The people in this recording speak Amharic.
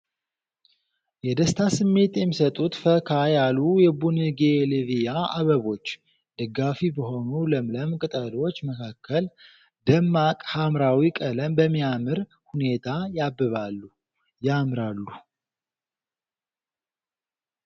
የደስታ ስሜት የሚሰጡት ፈካ ያሉ የቡጌንቪልያ አበቦች! ደጋፊ በሆኑ ለምለም ቅጠሎች መካከል ፣ ደማቅ ሐምራዊ ቀለም በሚያምር ሁኔታ ያብባሉ ያምራሉ።